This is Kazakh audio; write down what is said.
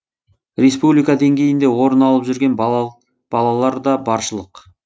республика деңгейінде орын алып жүрген балалар да баршылық